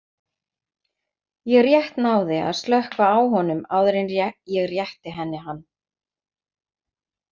Ég rétt náði að slökkva á honum áður en ég rétti henni hann.